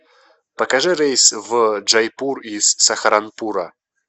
покажи рейс в джайпур из сахаранпура